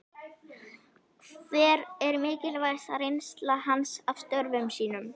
Hver er mikilvægasta reynsla hans af störfum sínum?